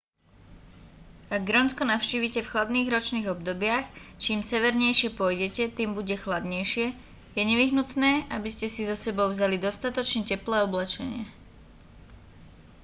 ak grónsko navštívite v chladných ročných obdobiach čím severnejšie pôjdete tým bude chladnejšie je nevyhnutné aby ste si so sebou vzali dostatočne teplé oblečenie